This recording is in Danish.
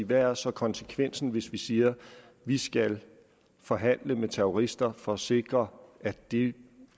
hvad er så konsekvensen hvis vi siger at vi skal forhandle med terrorister for at sikre at de